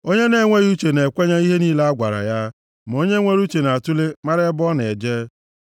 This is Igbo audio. Onye na-enweghị uche na-ekwenye ihe niile a gwara ya; ma onye nwere uche na-atule mara ebe ọ na-eje.